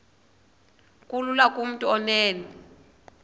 kulula kumntu onen